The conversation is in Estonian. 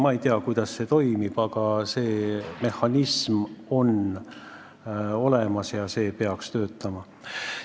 Ma ei tea, kuidas see toimib, aga see mehhanism on olemas ja peaks töötama.